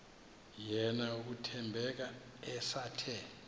yena uthembeka esathe